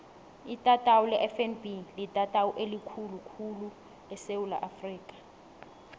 itatawu lefnb litatawu elikhulu khulu esewula afrika